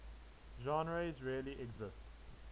genres really exist